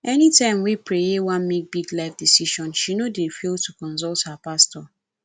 anytime wey preye wan make big life decision she no dey fail to consult her pastor